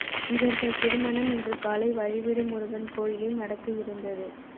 இவர்கள் திருமணம் இன்று காலை வழிவிடு முருகன் கோயிலில் நடக்க இருந்தது